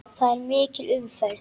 Þar er mikil umferð.